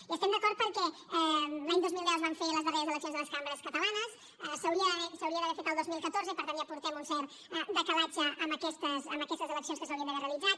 hi estem d’acord perquè l’any dos mil deu es van fer les darreres eleccions a les cambres catalanes s’haurien d’haver fet el dos mil catorze i per tant ja portem un cert decalatge amb aquestes eleccions que s’haurien d’haver realitzat